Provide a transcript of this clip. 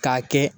K'a kɛ